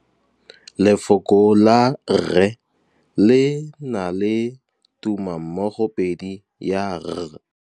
Lefoko la rre le na le tumammogôpedi ya, r.